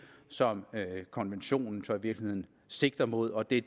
som konventionen så i virkeligheden sigter mod og det